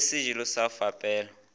le sejelo sa go fepela